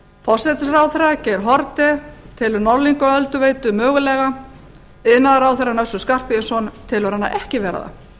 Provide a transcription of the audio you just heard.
forsætisráðherra geir haarde telur norðlingaölduveitu hæglega iðnaðarráðherrann össur skarphéðinsson telur hana ekki vera það